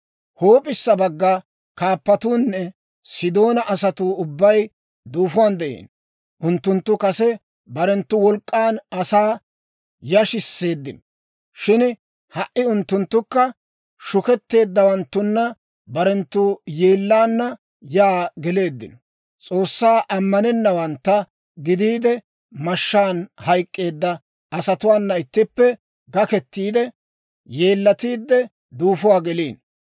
«Huup'issa bagga kaappatuunne Sidoona asatuu ubbay duufuwaan de'iino. Unttunttu kase barenttu wolk'k'an asaa yashisseeddino; shin ha"i unttunttukka shuketeeddawanttunna barenttu yeellaana yaa geleeddino. S'oossaa ammanennawantta gidiide, mashshaan hayk'k'eedda asatuwaana ittippe gakketiide, yeellatiide duufuwaa geliino.